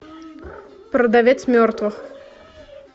продавец мертвых